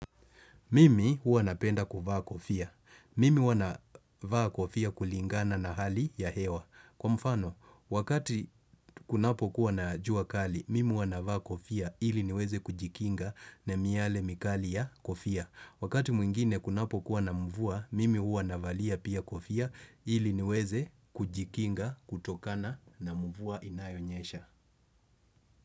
Mimi huwa napenda kuvaa kofia. Mimi huwa navaa kofia kulingana na hali ya hewa. Kwa mfano, wakati kunapo kuwa na jua kali, mimi huwa navaa kofia ili niweze kujikinga na miale mikali ya kofia. Wakati mwingine kunapo kuwa na mvua, mimi huwa navalia pia kofia ili niweze kujikinga kutokana na mvua inayonyesha.